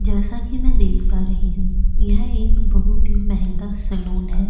जैसा की में देख पा रही हूँ यह एक बहौत ही मेहंगा सलून है।